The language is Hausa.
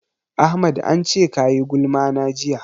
Ahmad an ce ka yi gulma na jiya.